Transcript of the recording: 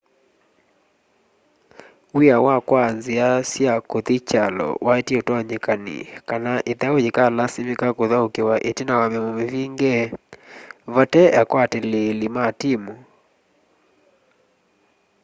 w'ia wa kwaa nzia sya kuthi kyalo waetie utonyekani kana ithau yikalasimika kuthaukiwa itina wa miomo mivinge vatai akwatiliili ma timu